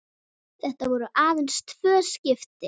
Þetta voru aðeins tvö skipti.